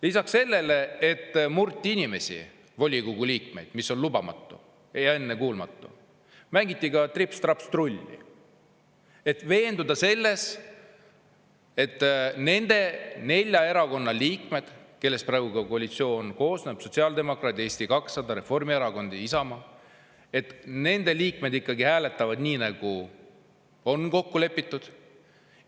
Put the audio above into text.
Lisaks sellele, et murti inimesi, volikogu liikmeid, mis on lubamatu ja ennekuulmatu, mängiti trips-traps-trulli, et veenduda selles, et nende nelja erakonna liikmed, kellest praegu koalitsioon koosneb – sotsiaaldemokraadid, Eesti 200, Reformierakond ja Isamaa –, et nende liikmed ikkagi hääletavad nii, nagu on kokku lepitud.